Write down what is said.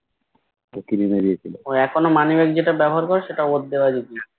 ওহ এখনো moneybag যেটা ব্যাবহার করো সেটা ওর দেওয়াই gift